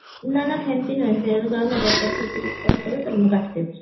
ନା ନା ସେମତି ନୁହେଁ ସେଉଠୁ ସେ ଯଦି ଏପଟ ସେପଟ କିଛି କଥା କହିବେ ତାହେଲେ ମୁଁ କାଟିଦେବି